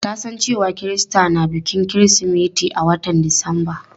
Ta san cewa Kirista na bikin kirismeti a watan disamba.